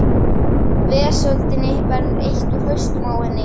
Vesöldinni verður eytt úr hausnum á henni.